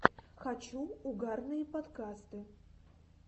хочу угарные подкасты